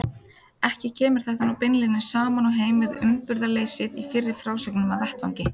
Ekki kemur þetta nú beinlínis saman og heim við uppburðarleysið í fyrri frásögnum af vettvangi.